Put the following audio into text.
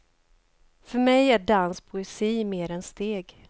För mig är dans poesi mer än steg.